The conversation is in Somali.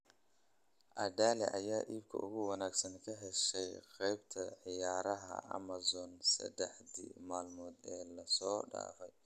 Aladee ayaa iibka ugu wanaagsan ka heshay qaybta ciyaaraha amazon saddexdii maalmood ee la soo dhaafay?